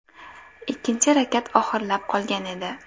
Ikkinchi rakat oxirlab qolgan edi.